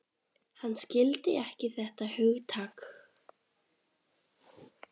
Hann skildi ekki þetta hugtak.